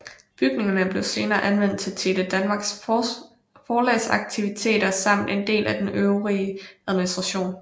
Bygningerne blev senere anvendt til Tele Danmarks forlagsaktiviteter samt en del af den øvrige administration